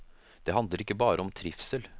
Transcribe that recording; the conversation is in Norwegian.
Det handler ikke bare om trivsel.